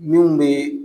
Min bɛ